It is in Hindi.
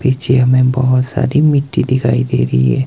पीछे मैं बहोत सारी मिट्टी दिखाई दे रही है।